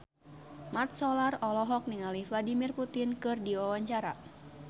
Mat Solar olohok ningali Vladimir Putin keur diwawancara